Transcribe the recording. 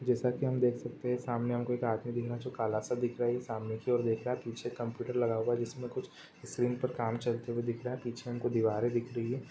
जैसे की हम देख सकते हैं सामने हमको एक आदमी दिख रहा है जो काला सा दिख रहा है ये सामने की ओर देख रहा है पीछे कंप्यूटर लगा हुआ है इसमें कुछ स्क्रीन पर काम चलते हुए दिख रहा है। पीछे हमको दीवारे दिख रही है।